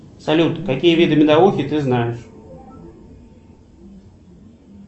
салют какие виды медовухи ты знаешь